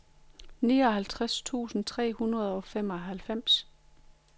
niogtres tusind tre hundrede og treoghalvfems